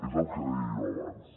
és el que deia jo abans